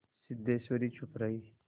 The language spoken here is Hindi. सिद्धेश्वरी चुप रही